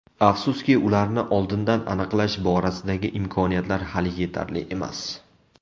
Afsuski, ularni oldindan aniqlash borasidagi imkoniyatlar hali yetarli emas.